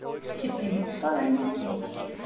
Kiddý, hvað er í matinn?